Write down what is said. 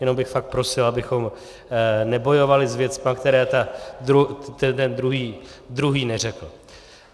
Jenom bych fakt prosil, abychom nebojovali s věcmi, které ten druhý neřekl.